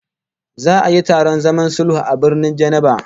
Za'a yi taron zaman sulhu a Birnin Geneva